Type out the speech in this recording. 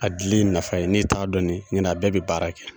A dili in nafa n'i t'a dɔn ɲɔntɛ a bɛɛ bɛ baara kɛ.